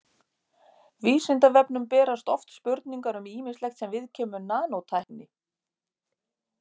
Vísindavefnum berast oft spurningar um ýmislegt sem viðkemur nanótækni.